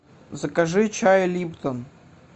закажи чай липтон